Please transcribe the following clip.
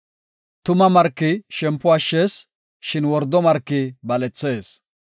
Tuma marki shempo ashshees; shin wordo marki balethees.